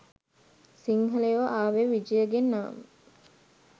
සිංහලයෝ ආවේ විජයගෙන් නම්